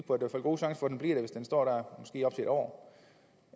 god chance for at den bliver det hvis den står der måske op til en år